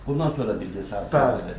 Bundan sonra bildin sənə zəng elədi?